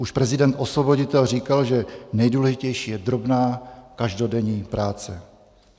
Už prezident Osvoboditel říkal, že nejdůležitější je drobná každodenní práce.